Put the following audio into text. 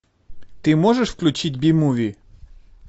ты можешь включить би муви